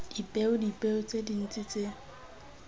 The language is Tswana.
dipeo dipeo tse dintse tse